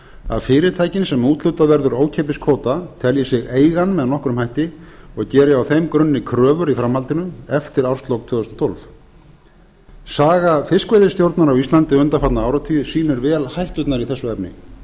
að fyrirtækin sem úthlutað verður ókeypis kvóta telji sig eiga hann með nokkrum hætti og geri á þeim grunni kröfur í framhaldinu eftir árslok tvö þúsund og tólf saga fiskveiðistjórnar á íslandi undanfarna áratugi sýnir vel hætturnar í þessu efni